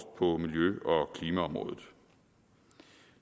på miljø og klimaområdet